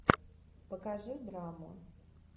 покажи драму